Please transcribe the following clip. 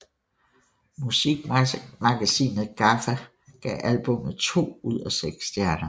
Musikmagasinet GAFFA gav albummet to ud af seks stjerner